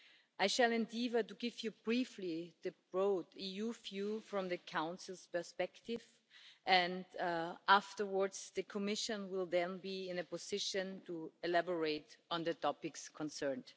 I shall endeavour to give you briefly the broad EU view from the Council's perspective, and afterwards the Commission will be in a position to elaborate on the topics concerned.